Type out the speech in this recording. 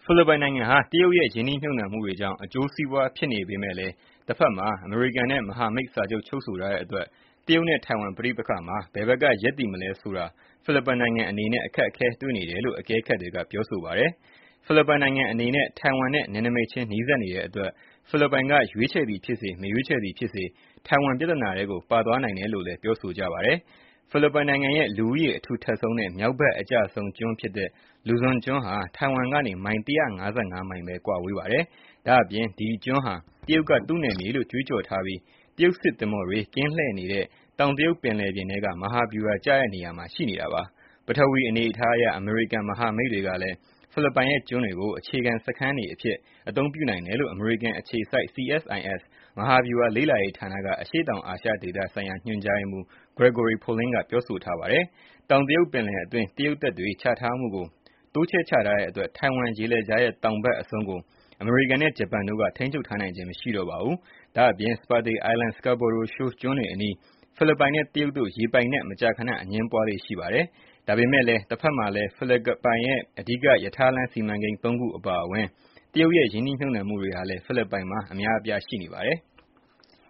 ဖိလစ်ပိုင်နိုင်ငံဟာ တရုတ်ရဲ့ရင်းနှီးမြှုပ်နှံမှုတွေကြောင့် အကျိုးစီးပွားဖြစ်နေပေမယ့်လည်း၊ တဘက်မှာ အမေရိကန်နဲ့ မဟာမိတ်စာချုပ်ချုပ်ဆိုထားတဲ့အတွက် တရုတ်နဲ့ ထိုင်ဝမ် ပဋိပက္ခမှာ ဘယ်ဘက်ကရပ်တည်မလဲဆိုတာ ဖိလစ်ပိုင်နိုင်ငံ အနေနဲ့ အခက်ခဲတွေ့နိုင်တယ်လို့ အကဲခတ်တွေကပြောဆိုပါတယ်။ ဖိလစ်ပိုင်နိုင်ငံအနေနဲ့ ထိုင်ဝမ်နဲ့ နယ်နိမိတ်ခြင်း နီးစပ်နေတဲ့အတွက် ဖိလစ်ပိုင်က ရွေးချယ်သည်ဖြစ်စေ မရွေးချယ်သည် ဖြစ်စေ ထိုင်ဝမ်ပြဿနာထဲကို ပါသွားနိုင်တယ်လို့လည်းပြောဆိုပါတယ်။ ဖိလစ်ပိုင်နိုင်ငံရဲ့လူဦးရေ အထူထပ်ဆုံးနဲ့ မြောက်ဘက်အကျဆုံးကျွန်းဖြစ်တဲ့ Luzon ကျွန်းဟာ ထိုင်ဝမ်ကနေ မိုင် ၁၅၅ မိုင်ဘဲကွာဝေးပါတယ်။ ဒါ့အပြင် ဒီကျွန်းဟာ တရုတ်က သူနယ်မြေလို့ကြွေးကြော်ထားပြီး၊ တရုတ်စစ်သင်္ဘောတွေ ကင်းလှည့်နေတဲ့ တောင်တရုတ်ပင်လယ်ပြင်ထဲက မဟာဗျူဟာကျတဲ့နေရာ မှာရှိနေပါတယ်။ ပထဝီ အနေအထားအရ အမေရိကန် မဟာမိတ်တွေကလည်း ဖိလစ်ပိုင်ရဲ့ ကျွန်းတွေကိုအခြေခံစခန်းတွေအဖြစ် အသုံးပြုနိုင်တယ်လို့ အမေရိကန်အခြေစိုက် CSIS မဟာဗျူဟာလေ့လာရေးဌာနက အရှေ့တောင်အာရှဒေသ ဆိုင်ရာညွှန်ကြားရေးမှုး Gregory Poling ကပြောဆိုပါတယ်။ တောင်တရုတ်ပင်လယ်အတွင်း တရုတ်တပ်တွေချထားမှုကို တိုးချဲ့ထားတဲ့အတွက် ထိုင်ဝမ်ရေလက်ကြားရဲ့တောင်ဘက်အဆုံးကို အမေရိကန်နဲ့ ဂျပန်တို့က ထိန်းချုပ်ထားနိုင်ခြင်း မရှိတော့ပါဘူး။ ဒါ့အပြင် Spratly Islands and Scarborough Shoal ကျွန်းတွေအနီး ဖိလစ်ပိုင်နဲ့ တရုတ်တို့ ရေပိုင်နက် မကြာခနအငြင်းပွားလေ့ရှိပါတယ်။ ဒါပေမယ့် လည်း တဘက်မှာလည်း ဖိလစ်ပိုင်ရဲ့အဓိက ရထားလမ်း စီမံကိန်း ၃ အပါအဝင် တရုတ်ရဲ့ရင်းနှီးမြှုပ်နှံမှုတွေဟာလည်း ဖိလစ်ပိုင်မှာ အများအပြားရှိနေပါတယ်။